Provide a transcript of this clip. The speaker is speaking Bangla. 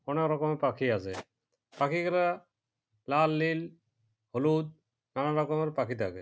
নানা রকম পাখি আসে পাখিগুলা লাল নীল হলুদ নানারকমের পাখি থাকে।